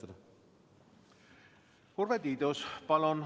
Urve Tiidus, palun!